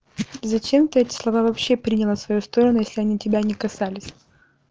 зачем ты эти слова вообще приняла в свою сторону если они тебя не касались